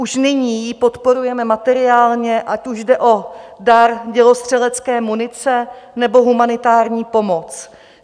Už nyní ji podporujeme materiálně, ať už jde o dar dělostřelecké munice, nebo humanitární pomoc.